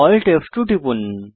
Alt ফ2 টিপুন